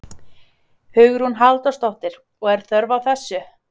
Hugrún Halldórsdóttir: Og er þörf á þessu?